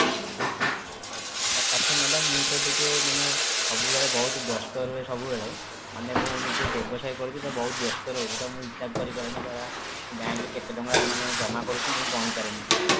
ଆଚ୍ଛା madam ମୁଁ ତ ଟିକେ ମାନେ ସବବୁବେଳେ ବହୁତ ବ୍ୟସ୍ତ ରହେ ସବୁବେଳେ ମାନେ ମୁଁ ନିଜ ବ୍ୟବସାୟ କରୁଛି ତ ବହୁତ ବ୍ୟସ୍ତ ରହୁଛି ତ ମୁଁ ହିସାବ କରିପାରେନି ଯାହା ମୁଁ bank ରେ କେତେ ଟଙ୍କା ଜମା କରିଛି ମୁଁ ଗଣିପାରେନି ଠିକ ସେ